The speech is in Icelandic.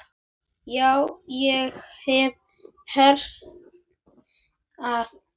Já, ég hef heyrt það.